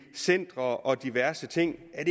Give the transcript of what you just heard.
centre og diverse ting er